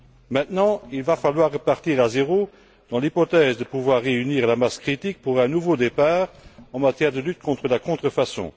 Maintenant, il va falloir repartir de zéro dans l'hypothèse de pouvoir réunir la masse critique pour un nouveau départ en matière de lutte contre la contrefaçon.